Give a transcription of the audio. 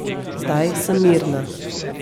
Zdaj sem mirna.